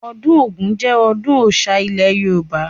Ọdún Ògún jẹ ọdún Ọ̀oṣà ilẹ̀ Yorùbá